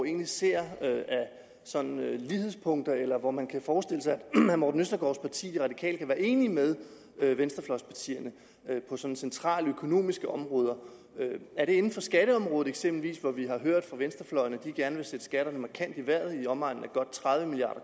egentlig ser af lighedspunkter eller hvor man kan forestille sig at herre morten østergaards parti de radikale kan være enige med venstrefløjspartierne på centrale økonomiske områder er det inden for skatteområdet eksempelvis hvor vi har hørt fra venstrefløjen at de gerne vil sætte skatterne markant i vejret i omegnen af godt tredive milliard